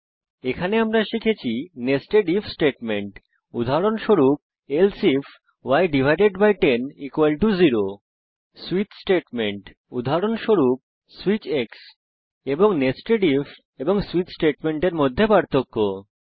এই টিউটোরিয়ালে আমরা শিখেছি নেস্টেড ইফ স্টেটমেন্ট উদাহরণস্বরূপ এলসে ifই100 সুইচ স্টেটমেন্ট উদাহরণস্বরূপ সুইচ এবং নেস্টেড ইফ এবং সুইচ স্টেটমেন্টের মধ্যে পার্থক্য